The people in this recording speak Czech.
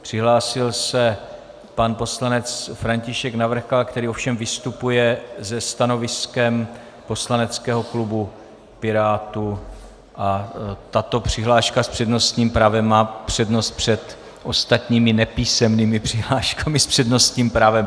Přihlásil se pan poslanec František Navrkal, který ovšem vystupuje se stanoviskem poslaneckého klubu Pirátů, a tato přihláška s přednostním právem má přednost před ostatními nepísemnými přihláškami s přednostním právem.